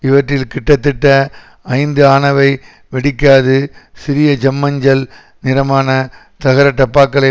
இவற்றில் கிட்டத்தட்ட ஐந்து ஆனவை வெடிக்காது சிறிய செம்மஞ்சள் நிறமான தகர டப்பாக்களை